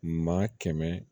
Maa kɛmɛ